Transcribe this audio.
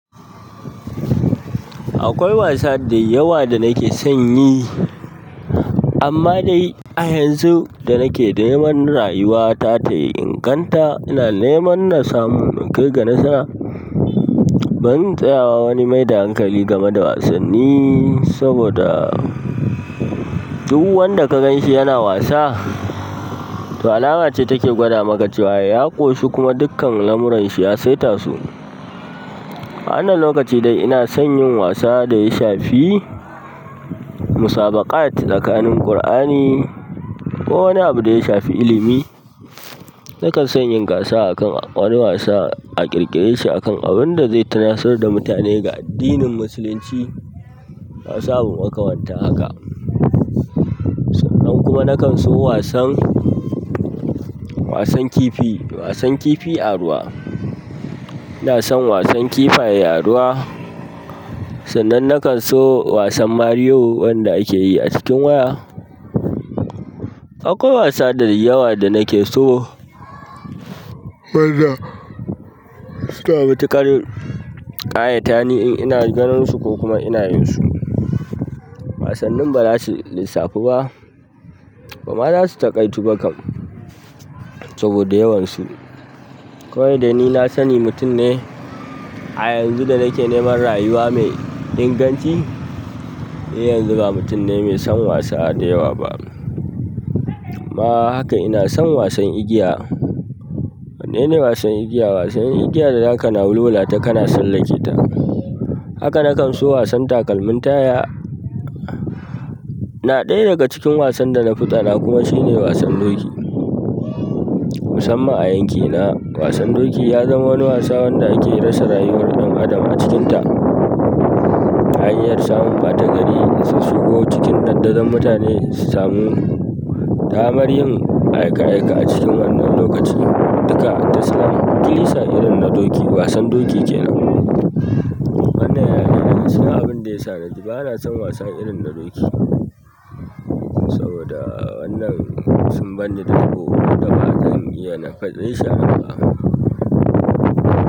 Akwai wasa da yawa da nake son yi, amma dai a yanzu da nake neman rayuwata ta yi inganta, ina neman na samu in kai ga nasara. Ban tsaya wa wani mai da hankali game da wasanni saboda duk wanda ka ganshi yana wasa, to alama ce take gwada maka ya ƙoshi kuma dukkan lamuran shi ya saita su. A wannnan lokaci dai ina son yin wasa da ya shafi musabaƙat tsakanin Qur'ani ko wani abu da ya shafi ilimi. Nakan son yin gasa a kan wani wasa a ƙirƙire shi akan abun da zai tunasar da mutane ga addinin Musulunci. Da wasu abu makamantan haka. Sannan kuma nakan so wasan, wasan kifi, wasan kifi a ruwa. Ina son wasan kifaye a ruwa. Sannan na kan so wasan Mario wanda ake yi a cikin waya. Akwai wasa da yawa da nake so wanda suna matuƙar ƙayata ni in ina ganin su ko kuma ina yin su. Wasannin ba za su lissafu ba ba za ma su taƙaitu ba kam, saboda yawan su. Kawai dai ni na sani mutum ne a yanzu da nake neman rayuwa mai inganci, ni yanzu ba mutum ne mai son wasa da yawa ba. Kuma haka ina son wasan igiya. Wanne ne wasan igiya? Wasan igiya da zaka na wulwulata kana tsallake ta. Haka na kan so wasan takalmin taya. Na ɗaya daga cikin wasan da na fi tsana kuma shine wasan doki. Musamman a yankina, wasan doki ya zama wani wasa wanda ake rasa rayuwar ɗan adam a cikinta. Hanyar samun batagari, in sun shigo cikin dandazon mutane su samu damar yin aika-aika a cikin wannan lokaci duka, ta salam, kilisa irin na doki wasan doki ke nan. Wannan yana daga cikin abin da ya sa ni ba na son wasa irin na doki saboda wannan sun barni da dako duk da ba zan iya nayi shra ba.